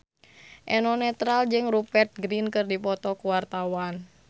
Eno Netral jeung Rupert Grin keur dipoto ku wartawan